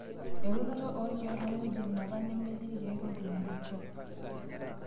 Eunoto oorkiek too ng'wejitin apaa nemetii irkiek otubulutwa.